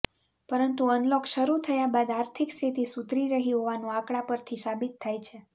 પરંતુ અનલોક શરૂ થયા બાદ આર્થિક સ્થિતિ સુધરી રહી હોવાનું આંકડા પરથી સાબિત થાય છે